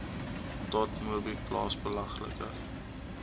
dotmobi plaas belangrike